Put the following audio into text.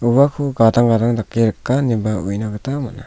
uako gadang gadang dake rika ineba uina gita man·a.